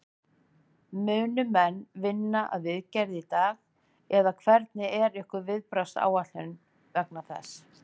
Munu menn vinna að viðgerð í dag eða hvernig er ykkar viðbragðsáætlun vegna þessa?